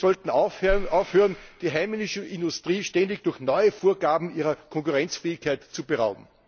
Wir sollten aufhören, die heimische Industrie ständig durch neue Vorgaben ihrer Konkurrenzfähigkeit zu berauben.